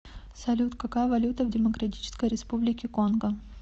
салют какая валюта в демократической республике конго